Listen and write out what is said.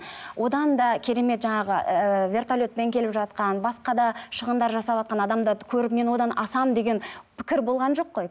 одан да керемет жаңағы ііі вертолетпен келіп жатқан басқа да шығындар жасаватқан адамдарды көріп мен одан асамын деген пікір болған жоқ қой